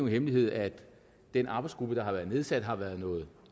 hemmelighed at den arbejdsgruppe der har været nedsat har været noget